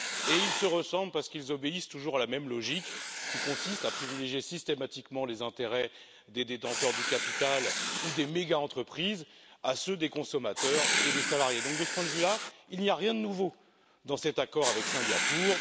Et ils se ressemblent parce qu'ils obéissent toujours à la même logique, qui consiste à privilégier systématiquement les intérêts des détenteurs du capital ou des méga entreprises face à ceux des consommateurs et des salariés. Par conséquent, de ce point de vue là, il n'y a rien de nouveau dans cet accord avec Singapour